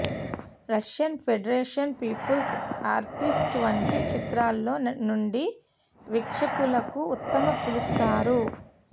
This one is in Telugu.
రష్యన్ ఫెడరేషన్ పీపుల్స్ ఆర్టిస్ట్ వంటి చిత్రాలలో నుండి వీక్షకులకు ఉత్తమ పిలుస్తారు